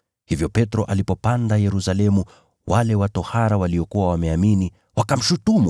Hivyo Petro alipopanda Yerusalemu, wale wa tohara waliokuwa wameamini wakamshutumu,